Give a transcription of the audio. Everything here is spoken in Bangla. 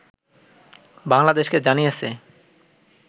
বাংলাদেশকে জানিয়েছে